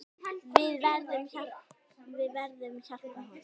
Við verðum hjálpa honum.